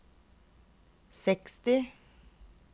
seksti